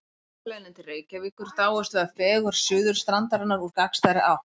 Á bakaleiðinni til Reykjavíkur dáumst við að fegurð Suðurstrandarinnar úr gagnstæðri átt.